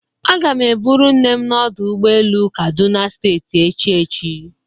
Aga m eburu nne m n'ọdụ ụgbọ elu Kaduna steeti echi echi.